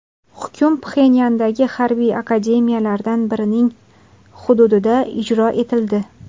Hukm Pxenyandagi harbiy akademiyalardan birining hududida ijro etildi.